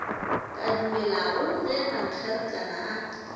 ka dumelago ge mankgeretlana a